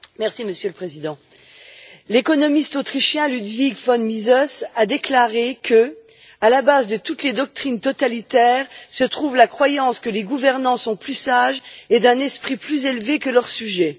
Monsieur le Président, l'économiste autrichien, Ludwig von Mises, a déclaré que, à la base de toutes les doctrines totalitaires, se trouve la croyance que les gouvernants sont plus sages et d'un esprit plus élevé que leurs sujets.